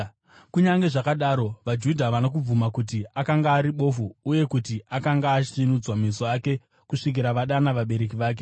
Kunyange zvakadaro, vaJudha havana kubvuma kuti akanga ari bofu uye kuti akanga asvinudzwa meso ake, kusvikira vadana vabereki vake.